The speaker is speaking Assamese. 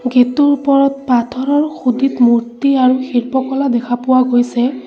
গেট টোৰ ওপৰত পথাৰৰ সুদিত মূৰ্তি আৰু শিল্পকলা দেখা পোৱা গৈছে।